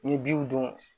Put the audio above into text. N ye binw don